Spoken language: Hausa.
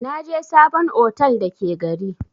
Naje sabon otel da ke gari.